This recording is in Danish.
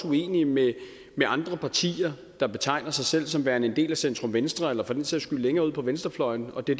uenige med andre partier der betegner sig selv som værende en del af centrum venstre eller for den sags skyld længere ude på venstrefløjen det